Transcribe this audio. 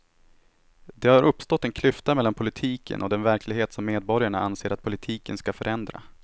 Det har uppstått en klyfta mellan politiken och den verklighet som medborgarna anser att politiken ska förändra.